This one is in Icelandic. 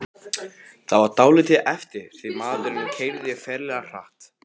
Það var dálítið erfitt því maðurinn keyrði ferlega hratt.